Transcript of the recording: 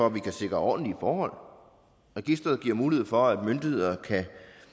at vi kan sikre ordentlige forhold registeret giver mulighed for at myndigheder kan